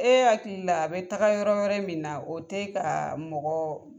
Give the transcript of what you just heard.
E hakili la a bɛ taga yɔrɔ wɛrɛ min na o tɛ ka mɔgɔ